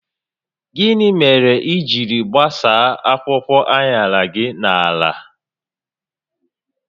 Gịnị mere i jiri gbasaa akwụkwọ aṅara gi na ala?